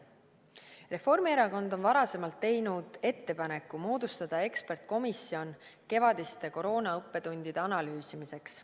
Reformierakond on varasemalt teinud ettepaneku moodustada eksperdikomisjon kevadiste koroonaõppetundide analüüsimiseks.